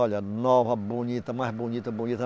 Olha, nova, bonita, mais bonita, bonita.